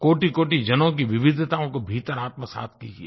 कोटिकोटि जनों की विविधताओं को भीतर आत्मसात् कीजिये